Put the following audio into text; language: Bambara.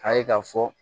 A ye k'a fɔ